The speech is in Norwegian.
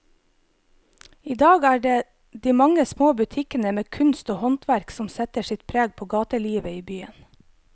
I dag er det de mange små butikkene med kunst og håndverk som setter sitt preg på gatelivet i byen.